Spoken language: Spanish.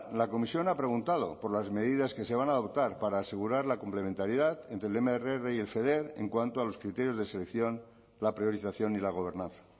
la comisión ha preguntado por las medidas que se van a adoptar para asegurar la complementariedad entre el mrr y el feder en cuanto a los criterios de selección la priorización y la gobernanza